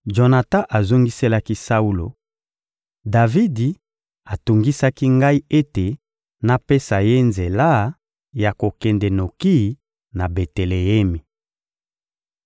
Jonatan azongiselaki Saulo: — Davidi atungisaki ngai ete napesa ye nzela ya kokende noki na Beteleemi.